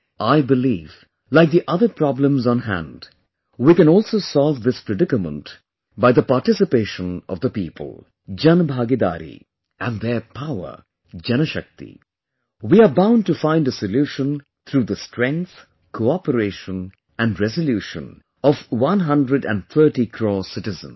I believe, like the other problems on hand, we can also solve this predicament by the participation of the people, Janbhagidariand their power, Janshakti we are bound to find a solution through the strength, cooperation and resolution of one hundred and thirty crore citizens